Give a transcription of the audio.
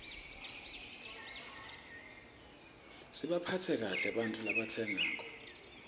sibaphatse kahle ebantfu labatsengako